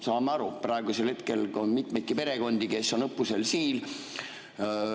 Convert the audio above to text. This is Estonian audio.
Saame aru, et praegusel hetkel on mitmeidki perekondi, kes on õppusel Siil.